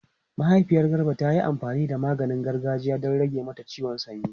Mahaifiyar Garba ta yi amfani da maganin gargajiya don rage mata ciwon sanyi.